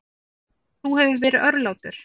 Þú hefur verið örlátur.